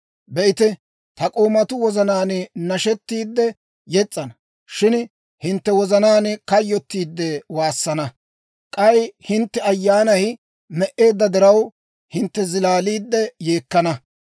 Be'ite, ta k'oomatuu wozanaan nashettiide yes's'ana; shin hintte wozanaan kayyottiidde waassana. K'ay hintte ayyaanay me"eedda diraw, hintte zilaaliide yeekkana.